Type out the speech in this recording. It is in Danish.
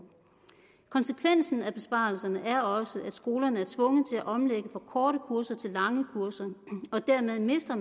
konsekvensen af besparelserne er også at skolerne er tvunget til at omlægge fra korte kurser til lange kurser og dermed mister